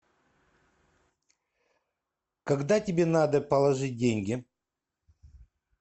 когда тебе надо положить деньги